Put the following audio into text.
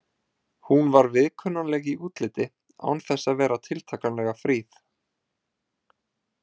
Hún var viðkunnanleg í útliti án þess að vera tiltakanlega fríð.